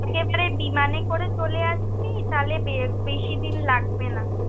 একেবারে বিমানে করে চলে আসবি, তালে বেশি দিন লাগবে না।